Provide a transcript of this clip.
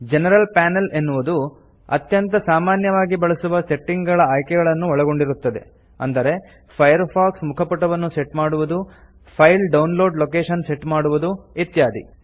general panel ಎನ್ನುವುದು ಅತ್ಯಂತ ಸಾಮಾನ್ಯವಾಗಿ ಬಳಸುವ ಸೆಟ್ಟಿಂಗ್ ಗಳ ಆಯ್ಕೆಗಳನ್ನು ಒಳಗೊಂಡಿರುತ್ತದೆ ಅಂದರೆ ಫೈರ್ಫಾಕ್ಸ್ ಮುಖಪುಟವನ್ನು ಸೆಟ್ ಮಾಡುವುದು file download location set ಮಾಡುವುದು ಇತ್ಯಾದಿ